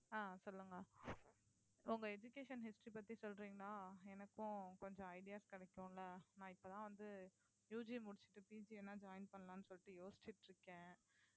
ஆஹ் சொல்லுங்க உங்க education history பத்தி சொல்றீங்கன்னா எனக்கும் கொஞ்சம் ideas கிடைக்கும்ல நான் இப்பதான் வந்து UG முடிச்சுட்டு PG எல்லாம் join பண்ணலாம்ன்னு சொல்லிட்டு யோசிச்சுட்டு இருக்கேன்